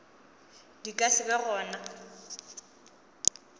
di ka se be gona